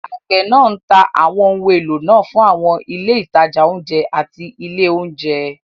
Àgbẹ̀ náà ń ta àwọn ohun èlò náà fún àwọn ilé ìtajà oúnjẹ àti ilé oúnjẹ.